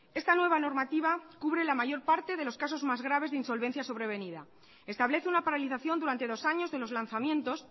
esta nueva normativa cubre la mayor parte de los casos más grave de insolvencia sobrevenida establece una paralización durante dos años de los lanzamientos